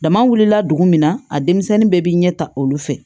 Dama wulila dugu min na a denmisɛnnin bɛɛ bɛ ɲɛ ta olu fɛ